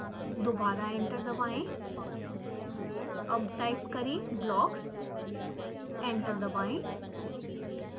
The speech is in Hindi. दोबारा एंटर दबाएं अब टाइप करें blocks एंटर दबाएं